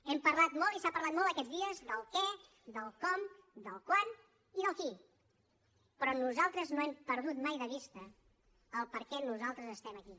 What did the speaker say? hem parlat molt i s’ha parlat molt aquests dies del què del com del quan i del qui però nosaltres no hem perdut mai de vista per què nosaltres estem aquí